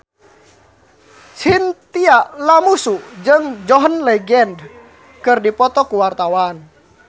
Chintya Lamusu jeung John Legend keur dipoto ku wartawan